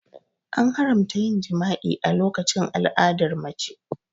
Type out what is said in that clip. An haramta yin jima'i a lokacin al'adar mace.